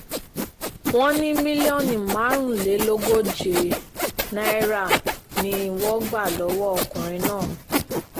wọ́n ní mílíọ̀nù márùnlélógóje náírà ni wọ́n ti gbà lọ́wọ́ ọkùnrin náà